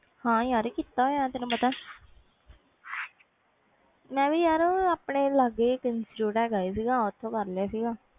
ਹਾਂ ਯਾਰ ਕੀਤਾ ਆਮ ਤੈਨੂੰ ਪਤਾ ਮੈਂ ਵੀ ਯਾਰ ਆਪਣੇ ਲਗੇ institute ਹਾਂ ਗਾ ਓਥੋਂ